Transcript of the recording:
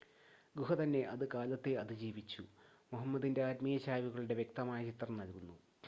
ഗുഹ തന്നെ അത് കാലത്തെ അതിജീവിച്ചു മുഹമ്മദിൻ്റെ ആത്മീയ ചായ്‌വുകളുടെ വ്യക്തമായ ചിത്രം നൽകുന്നു